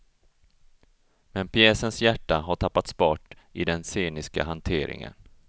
Men pjäsens hjärta har tappats bort i den sceniska hanteringen.